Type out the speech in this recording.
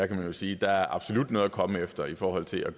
kan jo sige at der absolut er noget at komme efter i forhold til at